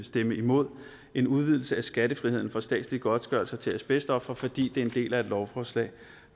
stemme imod en udvidelse af skattefriheden for statslige godtgørelser til asbestofre fordi det er en del af et lovforslag